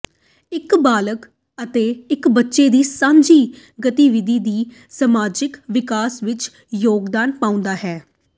ਇੱਕ ਬਾਲਗ ਅਤੇ ਇੱਕ ਬੱਚੇ ਦੀ ਸਾਂਝੀ ਗਤੀਵਿਧੀ ਵੀ ਸਮਾਜਿਕ ਵਿਕਾਸ ਵਿੱਚ ਯੋਗਦਾਨ ਪਾਉਂਦੀ ਹੈ